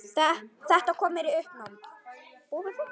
Þetta kom mér í uppnám